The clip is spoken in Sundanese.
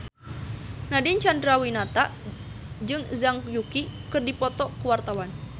Nadine Chandrawinata jeung Zhang Yuqi keur dipoto ku wartawan